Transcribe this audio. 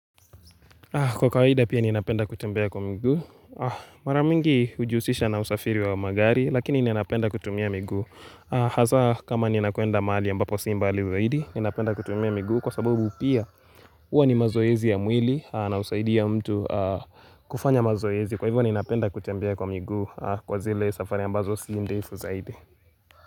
Kwa kawaida pia ninapenda kutembea kwa miguu. Maramingi hujiusisha na usafiri wa magari, lakini ninapenda kutumia miguu. Haza kama ninakwenda mahali ambapo si mbali zaidi, ninapenda kutumia miguu kwa sababu pia huwa ni mazoezi ya mwili na husaidia mtu kufanya mazoezi. Kwa hivyo ninapenda kutembea kwa miguu kwa zile safari ambazo si ndefu zaidi.